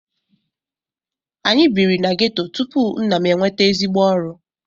Anyị bírí na ghetto tupu nna m enweta ezigbo ọrụ.